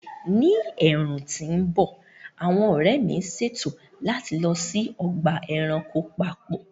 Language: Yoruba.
Ní ẹ̀ẹ̀rùn tí ń bọ̀, àwọn ọ̀rẹ́ mi ń ṣètò láti lọ sí ọgbà ẹranko papọ̀